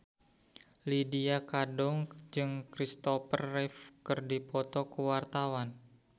Lydia Kandou jeung Christopher Reeve keur dipoto ku wartawan